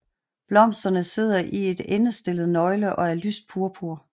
Blomsterne sidder i et endestllet nøgle og er lyst purpur